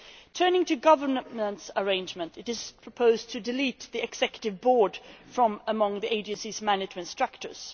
Turning to government arrangements, it is proposed to delete the Executive Board from among the Agency's management structures.